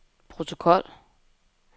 protokol